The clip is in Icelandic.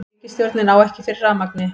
Ríkisstjórnin á ekki fyrir rafmagni